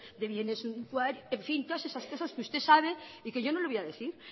de bienes suntuarios en fin todas esas cosas que usted sabe y que yo no lo voy a decir